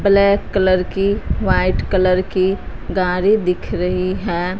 Black colour की white colour की गाड़ी दिख रही हैं।